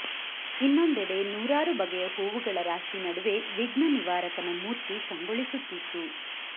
ಇನ್ನೋಂದೆಡೆ ನೂರಾರು ಬಗೆಯ ಹೂವುಗಳ ರಾಶಿ ನಡುವೆ ವಿಘ್ನ ನಿವಾರಕನ ಮೂರ್ತಿ ಕಂಗೊಳಿಸುತ್ತಿತ್ತು